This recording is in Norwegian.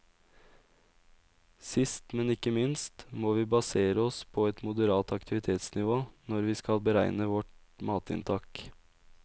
Sist, men ikke minst, vi må basere oss på et moderat aktivitetsnivå når vi skal beregne vårt matinntak.